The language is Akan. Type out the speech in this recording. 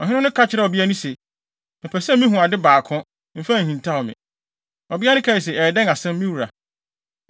Ɔhene no ka kyerɛɛ ɔbea no se, “Mepɛ sɛ mihu ade baako; mfa nhintaw me.” Ɔbea no kae se, “Ɛyɛ dɛn asɛm, me wura?”